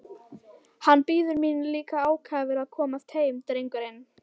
Hann bíður mín líka ákafur að komast heim drengurinn!